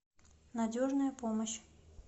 надежная помощь